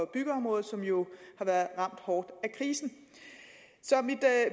byggeområdet som jo har været ramt hårdt af krisen